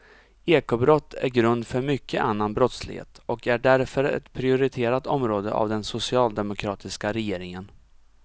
Ekobrott är grund för mycket annan brottslighet och är därför ett prioriterat område av den socialdemokratiska regeringen.